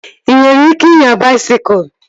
Ị nwere ike inya baisikụl?